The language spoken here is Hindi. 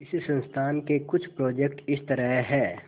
इस संस्थान के कुछ प्रोजेक्ट इस तरह हैंः